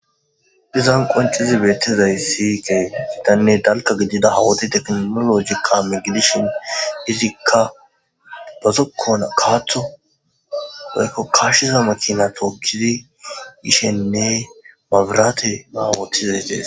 dizan qoncizi beettizaysi ke gidanne dalka gidida hawoti teknoologika megidishin izikka bazokkona kaaththo oykko kashshiza makina tookkizi ishenne mabirate awotizaystees